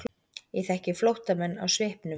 Ég þekki flóttamenn á svipnum.